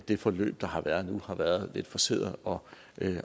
det forløb der har været nu har været lidt forceret og